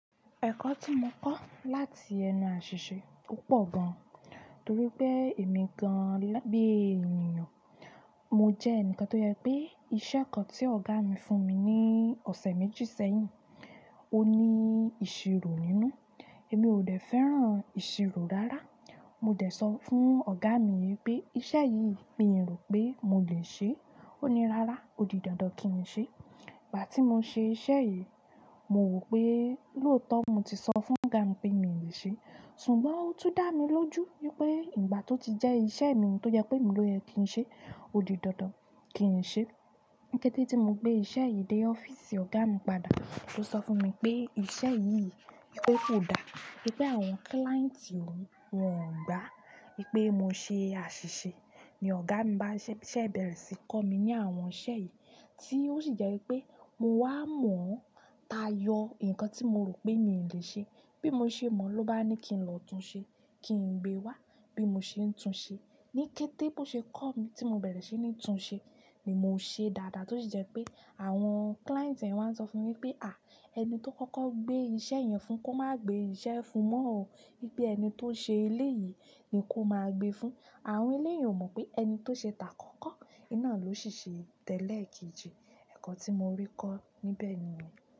Ẹ̀kọ́ tí mo kọ́ láti ẹnu aṣìṣe o pọ̀ gan, torí pé èmi gan bí ènìyàn. Mo jẹ́ ẹnìkan tó yẹ pé iṣẹ́ kan tí ọ̀gá mi fún mi ní ọ̀sẹ̀ méjì sẹ́yìn, ó ní ìṣirò nínú. Èmi ò dẹ́ fẹ́ràn ìṣirò rárá. Mo dẹ̀ sọ fún ọ̀gá mi pé, "Iṣẹ́ yìí mi rò pé mo le ṣé." Ó ní, "Rárá, ó di dandan kí n ṣe é." Ìgbà tí mo ṣe iṣẹ́ yìí, mo wò pé lóòótọ́ mo ti sọ fún ọ̀gá mi pé mi ò lè ṣe é, ṣùgbọ́n ó tún dá mi lójú wípé ìgbà tó ti jẹ́ iṣẹ́ mi tó jẹ pé emi lòye kí n ṣe é, ó di dandan kí n ṣe é. Ni kete ti mo gbe iṣẹ́ yìí de office ọ̀gá mi padà, o so fún mi pe, iṣẹ́ yi, wípé kódà wípé àwọn client ti oun won gba. Wípé mo ṣe àṣìṣe ni ọ̀gá mi bá ṣẹ́ bẹ̀rẹ̀ sí kọ́ mi ní àwọn iṣẹ́ yìí. Tí ó sì jẹ́ wípé mo wá mọ̀ táyọ ǹkan tí mo rò pé mi ò lè ṣe. Bí mo ṣe mọ̀ ló bá ní kí n lọ tún ṣe é, kí n gbé wá. Bí mo ṣe ń tún ṣe é, ní kété bó ṣe kọ́ mi tí mo bẹ̀rẹ̀ sí ní tún ṣe é ni mo ṣe dáadáa tí ó sì jẹ́ pé àwọn client ẹ̀ wá ń sọ fún ni pé, "À! Ẹni tó kọ́kọ́ gbé iṣẹ́ yẹn fún kó má gbé iṣẹ́ fún mọ́ ó. Wípé ẹni tó ṣe ilé yìí ni kó máa gbé fún." Àwọn eleyun ò mọ̀ pé ẹni tó ṣe tà kọ́kọ́, iná ló sì ṣe tẹ́lẹ̀ kejì. Ẹ̀kọ́ tí mo rí kọ́ níbẹ̀ ni yen.